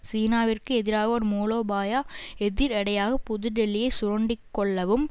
சீனாவிற்கு எதிராக ஒரு மூலோபாய எதிர்எடையாக புதுடெல்லியை சுரண்டிக்கொள்ளவும்